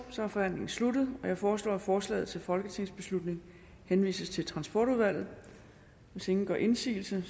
er forhandlingen sluttet jeg foreslår at forslaget til folketingsbeslutning henvises til retsudvalget hvis ingen gør indsigelse